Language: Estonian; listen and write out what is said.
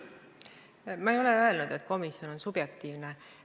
Ma ei ole öelnud, et komisjon on subjektiivne.